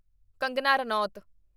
Kangana Ranaut